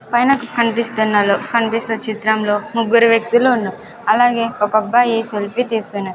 పైనా కనిపిస్తున్న లో కనిపిస్తున్నా చిత్రం లో ముగురు వ్యక్తులు ఉన్నారు అలాగే ఒక అబ్బాయి సెల్ఫీ తిస్తూన్నాడ్.